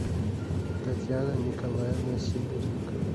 татьяна николаевна сидоренко